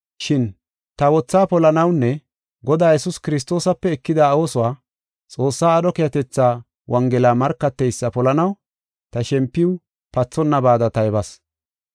Shin ta wothaa polanawunne Godaa Yesuus Kiristoosape ekida oosuwa, Xoossaa aadho keehatetha Wongela markateysa polanaw ta shempiw pathonnabada taybas.